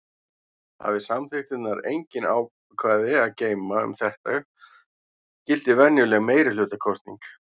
Hafi samþykktirnar engin ákvæði að geyma um þetta gildir venjuleg meirihlutakosning.